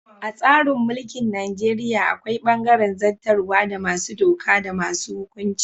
A tsarin mulkin Najeriya akwai bangaren zattarwa da masu doka da masu hukunci.